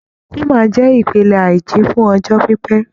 Coma jẹ́ ìpele àìjí fún ọjọ́ pípẹ́.